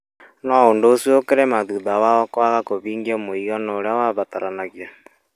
no ũndũ ũcio ũkĩremwo thutha wao kwaga kũhingia mũigana ũrĩa wabataranagia.